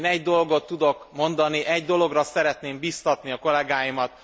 Én egy dolgot tudok mondani, egy dologra szeretném bíztatni a kollegáimat.